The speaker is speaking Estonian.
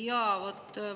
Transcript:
Jaa, vot.